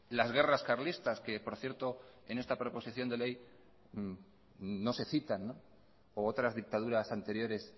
las guerras carlistas que por cierto en esta proposición de ley no se citan u otras dictaduras anteriores